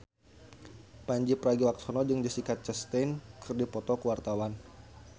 Pandji Pragiwaksono jeung Jessica Chastain keur dipoto ku wartawan